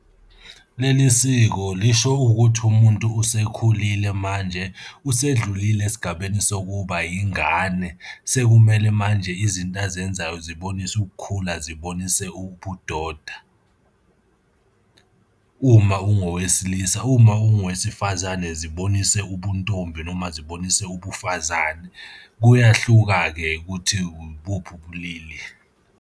Leli siko lisho ukuthi umuntu usekhulile manje, usedlulile esigabeni sokuba yingane, sekumele manje izinto azenzayo zibonise ukukhula, zibonise ubudoda, uma ungowesilisa. Uma unguwesifazane, zibonise ubuntombi noma zibonise ubufazane. Kuyahluka-ke ukuthi ibuphi ubulili.